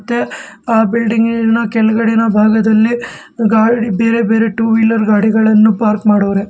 ಏ ಬಿಲ್ಡಿಂಗ್ ಇನ ಕೆಳಗಡಿನ ಭಾಗದಲ್ಲಿ ಗಾಡ್ ಬೇರೆ ಬೇರೆ ಟೂ ವೀಲರ್ ಗಾಡಿಗಳನ್ನು ಪಾರ್ಕ್ ಮಾಡವ್ರೆ.